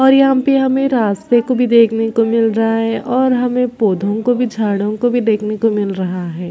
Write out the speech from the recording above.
और यहाँ पे हमें रास्ते को भी देखने को मिल रहा है और हमें पौधों को भी झाड़ो को भी देखने को मिल रहा है।